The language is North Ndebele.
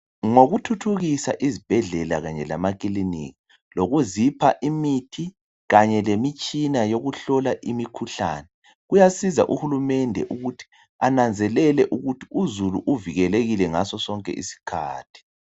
Ngokuthuthukisa izibhedlela kanye lamakiliniki lokuzipha imithi kanye lemitshina yokuhlola imikhuhlane kuyasiza uhulumende ukuthi ananzelele ukuthi uzulu uvikelekile ngaso sonke isikhathi.